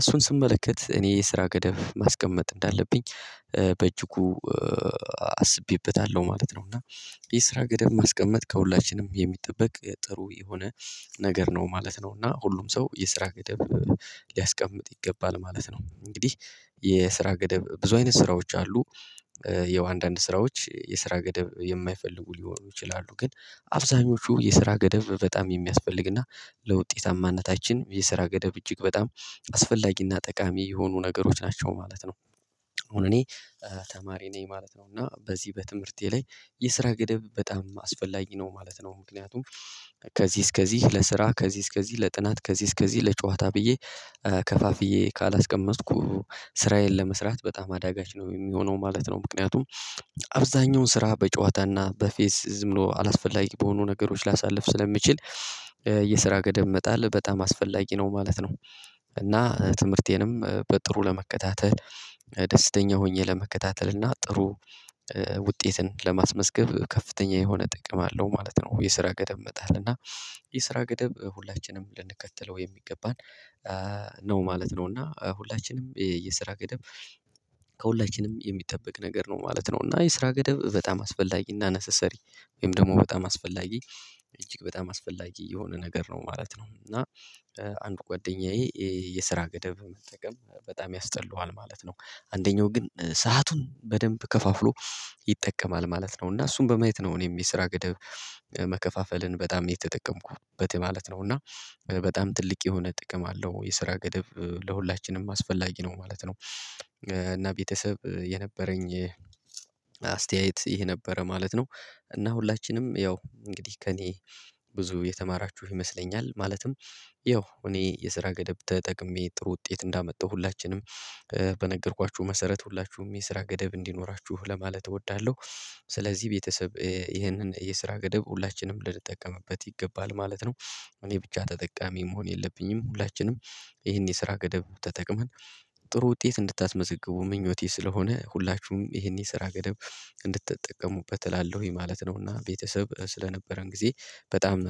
እሱን ስመለከት እኔ የስራ ገደብ ማስቀመጥ እንዳለብኝ በእጅጉ አስቤበታለሁ ማለት ነው። እና የስራ ገደብ ማስቀመጥ ከሁላችንም የሚጠበቅ ጥሩ የሆነ ነገር ነው ማለት ነው። እና ሁሉም ሰው የስራ ገደብ ሊያስቀምጥ ይገባል ማለት ነው። እንግዲህ የስራ ገደብ ብዙ አይነት ስራዎች አሉ። የው ስራዎች የስራ ገደብ የማይፈልጉ ሊሆኑ ይችላሉ ግን አብዛኞቹ የስራ ገደብ በጣም የሚያስፈልግና ለውጤታማነታችን የስራ ገደብ እጅግ በጣም አስፈላጊና ጠቃሚ የሆኑ ነገሮች ናቸው ማለት ነው። አሁን እኔ ተማሪ ነኝ ማለት ነው። እና በዚህ በትምህርቴ ላይ የስራ ገደብ በጣም አስፈላጊ ነው ማለት ነው። ምክንያቱም ከዚህ እስከዚህ ለስራ ከዚህ እስከዚህ ለጥናት ከዚህ እስከዚህ ለጨዋታ ብዬ ከፋፍዬ ካላስቀመጥኩ ስራዬን ለመስራት በጣም አዳጋች ነው የሚሆነው ማለት ነው። ምክንያቱም አብዛኛውን ስራ በጨዋታና በፌስ ዝም ብሎ አላስፈላጊ በሆኑ ነገሮች ላሳልፍ ስለሚችል የስራ ገደብ መጣል በጣም አስፈላጊ ነው ማለት ነው። እና ትምህርቴንም በጥሩ ለመከታተል ደስተኛ ሆኜ ለመከታተል እና ጥሩ ውጤትን ለማስመዝገብ ከፍተኛ የሆነ ጥቅም አለው ማለት ነው። የስራ ገደብ መጣህል እና የስራ ገደብ ሁላችንም ልንከተለው የሚገባን ነው ማለት ነው። እና ሁላችንም የስራ ገደብ ከሁላችንም የሚጠበቅ ነገር ነው ማለት ነው። እና የስራ ገደብ በጣም አስፈላጊና ነሰሰሪ ወይም ደግሞ በጣም አስፈላጊ እጅግ በጣም አስፈላጊ የሆነ ነገር ነው ማለት ነው። እና አንድ ጓደኛዬ የስራ ገደብ መጠቀም በጣም ያስጠላዋል ማለት ነው። አንደኛው ግን ሰአቱን በደንብ ከፋፍሎ ይጠቀማል ማለት ነው። እና እሱም በማየት ነው እኔም የስራ ገደብ መከፋፈልን በጣም የተጠቀምኩበት ማለት ነው። እና በጣም ትልቅ የሆነ ጥቅም አለው የስራ ገደብ ለሁላችንም አስፈላጊ ነው ማለት ነው። እና ቤተሰብ የነበረኝ አስተያየት ይሄ ነበረ ማለት ነው። እና ሁላችንም ያው እንግዲህ ከእኔ ብዙ የተማራችሁ ይመስለኛል ማለትም ያው እኔ የስራ ገደብ ተጠቅሜ ጥሩ ውጤት እንዳመጣሁ ሁላችንም በነገርኳችሁ መሰረት ሁላችሁም የስራ ገደብ እንዲኖራችሁ ለማለት እወዳለሁ። ስለዚህ ቤተሰብ ይህንን የስራ ገደብ ሁላችንም ልትጠቀምበት ይገባል ማለት ነው። እኔ ብቻ ተጠቃሚ መሆን የለብኝም ሁላችንም ይህን የስራ ገደብ ተጠቅመን ጥሩ ውጤት እንድታስመዘግቡ ምኞቴ ስለሆነ ሁላችሁም ይህን የስራ ገደብ እንድትጠቀሙበት እላለሁኝ ማለት ነውና ቤተሰብ ስለነበረን ጊዜ በጣም